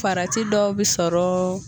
Farati dɔ bɛ sɔrɔ.